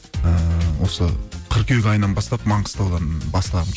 ііі осы қырқүйек айынан бастап маңғыстаудан